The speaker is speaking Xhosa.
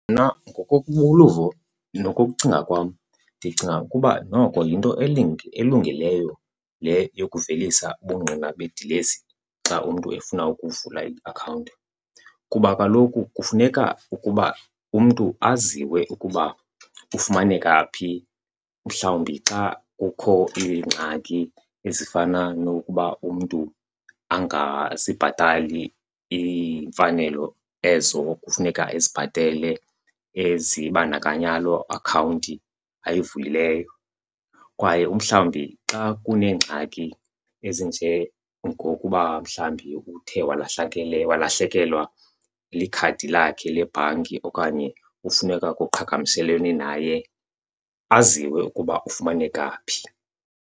Mna uluvo nokucinga kwam ndicinga ukuba noko yinto elungileyo le yokuvelisa ubungqina bedilesi xa umntu efuna ukuvula iakhawunti. Kuba kaloku kufuneka ukuba umntu aziwe ukuba ufumaneka phi mhlawumbi xa kukho iingxaki ezifana nokuba umntu angazibhatali iimfanelo ezo kufuneka ezibhatele ezibandakanya loo akhawunti uyivulileyo. Kwaye umhlawumbi xa kuneengxaki ezinjengokuba mhlawumbi uthe walahlakelwa likhadi lakhe lebhanki okanye kufuneka kuqhagamshelwene naye, aziwe ukuba ufumaneka phi.